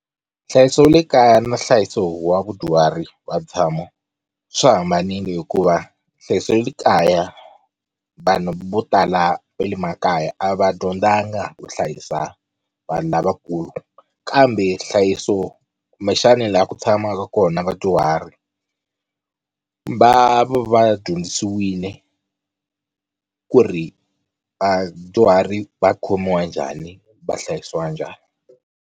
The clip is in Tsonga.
Nhlayiso wa le kaya na nhlayiso wa vadyuhari wa vutshamo swi hambanile, hikuva nhlayiso wa le kaya vanhu vo tala va le makaya a va dyondzanga ku hlayisa vanhu lavakulu kambe nhlayiso kumbexani laha ku tshamaka kona vadyuhari va va dyondzisiwile ku ri vadyuhari va khomiwa njhani va hlayisiwa njhani.